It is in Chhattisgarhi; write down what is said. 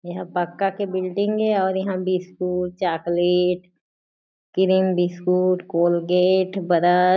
एहा पक्का के बिल्डिंग ए और इहा biscuit chocolate cream biscuit Colgate brush --